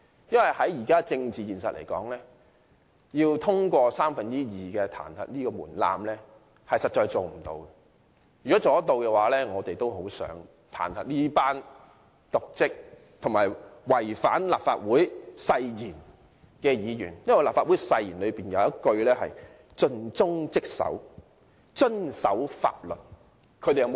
如果達得到，我們都很想彈劾這群瀆職和違反立法會誓言的議員。立法會誓言的其中一句是"盡忠職守，遵守法律"。